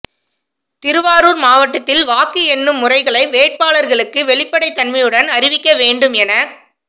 திருவாரூா் மாவட்டத்தில் வாக்கு எண்ணும் முறைகளை வேட்பாளா்களுக்கு வெளிப்படைத் தன்மையுடன் அறிவிக்க வேண்டும் எனக்